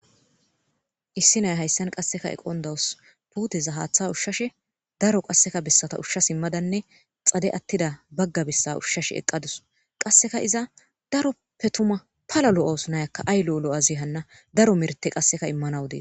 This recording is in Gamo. issi naya hayssan qasseka eqon dawus puteza haaththa ushshashe daro qasseka bessata ushshas immadanne xade attida bagga bessa ushshash eqqadus qasseka iza daroppe tuma pala lo7os nayakka aylo7 lo7azi hanna daro merte qasseka immanawu dees